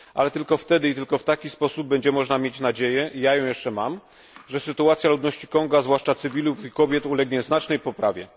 Ale tylko wtedy i tylko w taki sposób będzie można mieć nadzieję ja ją jeszcze mam że sytuacja ludności Konga, zwłaszcza cywilów i kobiet, ulegnie znacznej poprawie.